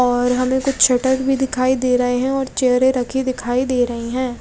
और हमे कुछ शटर भी दिखाई दे रहे है और चेयर रखे दिखाई दे रही है।